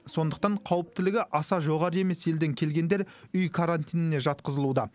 сондықтан қауіптілігі аса жоғары емес елден келгендер үй карантиніне жатқызылуда